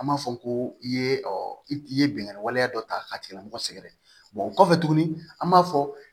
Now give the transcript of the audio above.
An b'a fɔ ko i ye i ye bingani waleya dɔ ta k'a tigilamɔgɔ sɛgɛrɛ o kɔfɛ tuguni an b'a fɔ